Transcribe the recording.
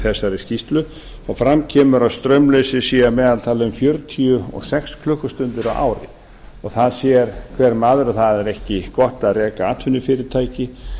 þessari skýrslu og fram kemur að straumleysi sé að meðaltali um fjörutíu og sex klukkustundir á ári það sér hver maður að það er ekki gott að reka atvinnufyrirtæki